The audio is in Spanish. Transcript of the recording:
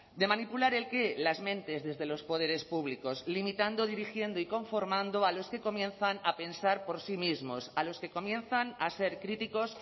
de manipular el qué las mentes desde los poderes públicos limitando dirigiendo y conformando a los que comienzan a pensar por sí mismos a los que comienzan a ser críticos